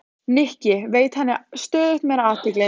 Nikki, veitti henni stöðugt meiri athygli.